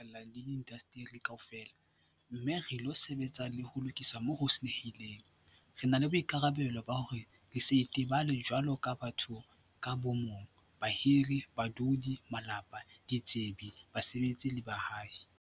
Jwalo ka ha re kgutlela mesebetsing ya moruo ho phatlalla le diindasteri kaofela - mme re ilo sebetsa le ho lokisa moo ho senyehileng - re na le boikarabelo ba hore re se itebale jwaloka batho ka bo mong, bahiri, badudi, malapa, ditsebi, basebetsi le baahi.